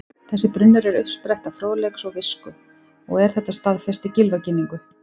Þessi brunnur er uppspretta fróðleiks og visku og er þetta staðfest í Gylfaginningu: